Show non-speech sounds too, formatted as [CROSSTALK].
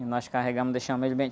E nós carregamos, deixamos ele... [UNINTELLIGIBLE]